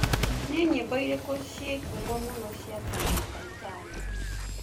nĩ nyĩmbo ĩrikũ cie ngũmo mũno cia Sanapei Tande